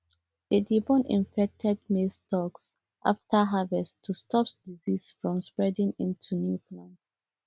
they dey burn infected maize stalks after harvest to stop disease from spreading into new plants